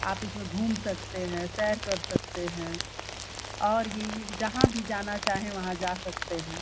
आप इसमें घूम सकते हैं सेर कर सकते हैं और ये जहां भी जाना चाहे वहां जा सकते हैं ।